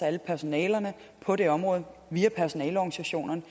alle personalerne på det her område via personaleorganisationerne